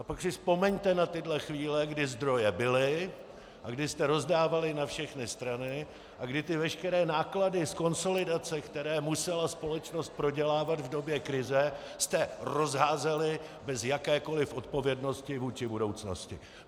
A pak si vzpomeňte na tyhle chvíle, kdy zdroje byly a kdy jste rozdávali na všechny strany a kdy ty veškeré náklady z konsolidace, které musela společnost prodělávat v době krize, jste rozházeli bez jakékoli odpovědnosti vůči budoucnosti.